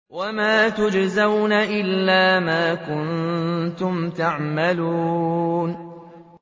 وَمَا تُجْزَوْنَ إِلَّا مَا كُنتُمْ تَعْمَلُونَ